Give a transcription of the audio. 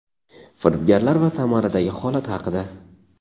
firibgarlar va Samaradagi holat haqida.